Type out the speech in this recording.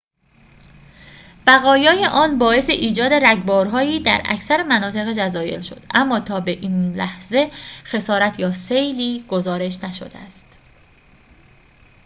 بقایای آن باعث ایجاد رگبارهایی در اکثر مناطق جزایر شد اما تا به این لحظه خسارت یا سیلی گزارش نشده است